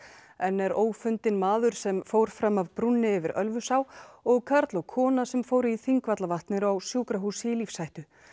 enn er ófundinn maður sem fór fram af brúnni yfir Ölfusá og karl og kona sem fóru í Þingvallavatn eru á sjúkrahúsi í lífshættu